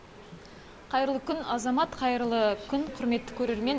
қайырлы күн азамат қайырлы күн құрметті көрермен